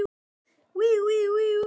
Ég var gift í nokkur ár.